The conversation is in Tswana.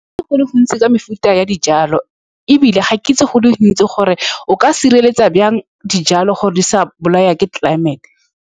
Go le gontsi ka mefuta ya dijalo, ebile ga ke itse go le gontsi gore o ka sireletsa jang dijalo, gore di sa bolawa ke tlelaemete.